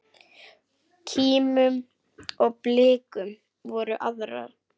Kímum og blikkum hvor aðra.